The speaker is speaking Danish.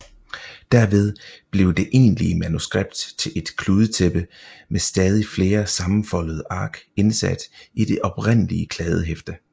Derved blev det egentlige manuskript til et kludetæppe med stadig flere sammenfoldede ark indsat i det oprindelige kladdehæfte